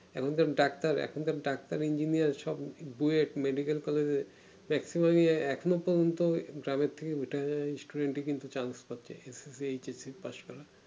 এখনকার ডাক্তার এখনকার doctor engineer সব duet এ medical college এ একরকম তো ড্রামের থাকে উঠে যাই student এ কিন্তু chance পাচ্ছে HS পাস করা